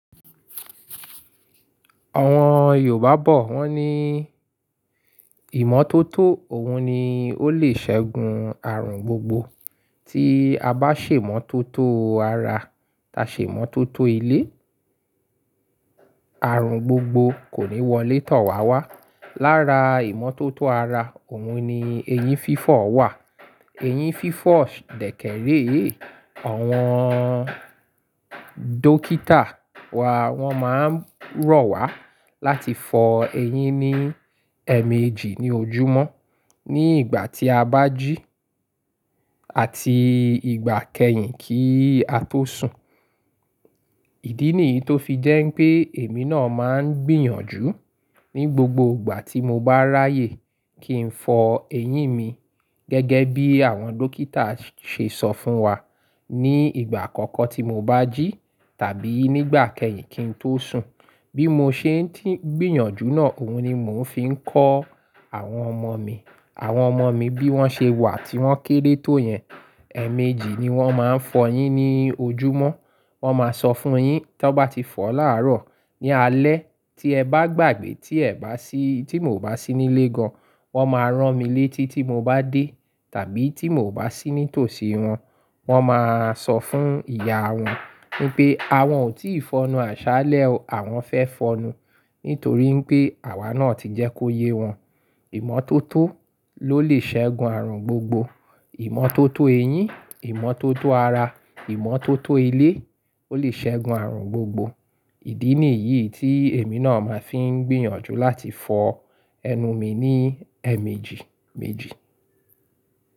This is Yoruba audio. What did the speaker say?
Àwọn Yorùbá bọ̀ wọ́n ní ìmọ́tótó òun ni ó lè ṣẹ́gun àrùn gbogbo. Tí a bá ṣèmótótó ara, ta ṣèmótótó ilé, àrùn gbogbo kò ní wọlé tọ̀ wá wá. Lára ìmọ́tótó ara, òun ni ẹyín fífọ̀ wà. Ẹyín fífọ̀ dẹ̀kẹ̀rẹ́ yìí àwọn dókítà wá wọ́n máa ń rọ̀ wá láti fọ ẹyín ní ẹ̀ẹ̀mejì ní ojúmọ́ ní ìgbà tí a bá jí àti ìgbà kẹ́yìn kí á tó sùn. Ìdí nìyí tó fi jẹ́ pé èmi náà máa ń gbìyànjú ní gbogbo ìgbà tí mo bá ráyè kí n fọ ẹyín mi gẹ́gẹ́ bí àwọn dókítà ṣe sọ fún wa ní ìgbà àkọ́kọ́ tí mo bá jí tàbí nígbà kẹ́yìn kí n tó sùn. Bí mo ṣe ń tíì gbìyànjú náà, òun ni mò ń fi ń kọ́ àwọn ọmọ mi. Àwọn ọmọ mi bí wọ́n ṣe wà tí wọ́n kéré tó yẹn, ẹ̀ẹ̀mejì ni wọ́n máa ń fọ yín ní ojúmọ́. Wọ́n máa sọ fún yín tí wọ́n bá ti fọ láàárọ̀ ní alẹ́ tí ẹ bá gbàgbé tí ẹ bá sí, tí mo bá sí nílé gan, wọ́n máa rán mi létí tí mo bá dé tàbí tí mo bá sí ní tòsí wọn, wọ́n máa sọ fún ìyá wọn wípé àwọn ò tí ì fọnnu àṣálẹ́, àwọn fẹ́ fọnnu nítorí pé àwa náà ti jẹ́ kó yé wọn. Ìmọ́tótó ló lè ṣẹ́gun àrùn gbogbo. Ìmọ́tótó ẹyín, ìmọ́tótó ara, ìmọ́tótó ilé ó lè ṣẹ́gun àrùn gbogbo. Ìdí nìyí tí èmi náà máa fi ń gbìyànjú láti fọ ẹnu mi ní ẹ́ẹ̀mejì méjì.